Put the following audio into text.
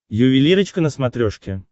ювелирочка на смотрешке